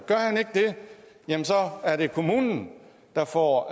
jamen så er det kommunen der får